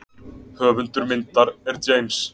Höfundur myndar er James.